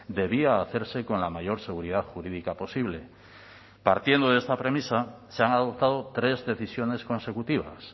debía hacerse con la mayor seguridad jurídica posible partiendo de esta premisa se han adoptado tres decisiones consecutivas